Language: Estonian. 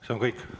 See on kõik?